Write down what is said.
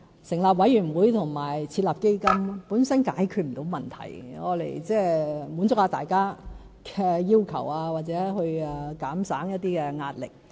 成立委員會和設立基金本身是解決不到問題，是用來滿足一下大家的要求，或減省一些壓力。